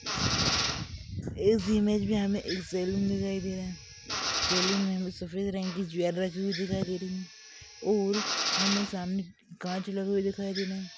इस इमेज में हमें एक सलून दिखाई दे रहा है सलून में सफ़ेद रंग की दिखाई दे रही है और हमें सामने कांच लगे हुये दिखाई दे रहा है।